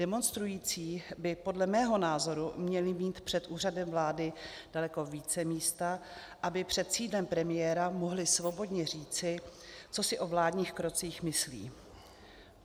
Demonstrující by podle mého názoru měli mít před Úřadem vlády daleko více místa, aby před sídlem premiéra mohli svobodně říci, co si o vládních krocích myslí.